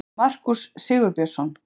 Markús Sigurbjörnsson.